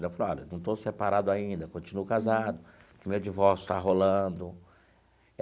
Ela falou, olha, não estou separado ainda, continuo casado, o meu divórcio está rolando.